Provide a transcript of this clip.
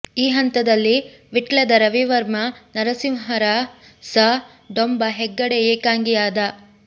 ಈ ಹಂತದಲ್ಲಿ ವಿಟ್ಲದ ರವಿವರ್ಮ ನರಸಿಂಹರಸ ಡೊಂಬ ಹೆಗ್ಗಡೆ ಏಕಾಂಗಿ ಯಾದ